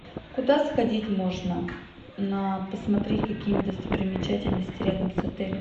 куда сходить можно на посмотреть какие нибудь достопримечательности рядом с отелем